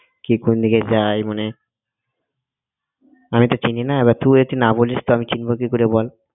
কি কোন দিকে যায় মানে আমি তো চিনি না এবার তুই যদি না বলিস আমি চিনব কি করে বল?